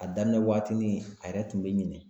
A daminɛ waatini a yɛrɛ tun be ɲinɛ